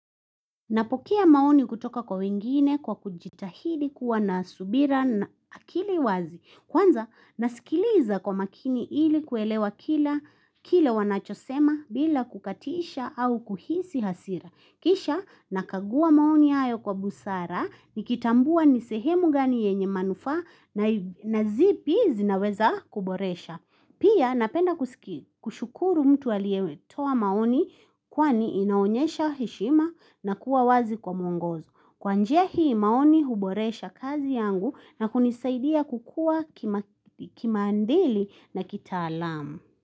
Napokea maoni kutoka kwa wengine kwa kujitahidi kuwa na subira na akili wazi. Kwanza nasikiliza kwa makini ili kuelewa kila wanachosema bila kukatisha au kuhisi hasira. Kisha nakagua maoni hayo kwa busara, nikitambua nisehemu gani yenye manufa na zipi zinaweza kuboresha. Pia napenda kushukuru mtu aliyetoa maoni kwani inaonyesha heshima na kuwa wazi kwa muongozo. Kwa njia hii maoni huboresha kazi yangu na kunisaidia kukua kimaandili na kitaalamu.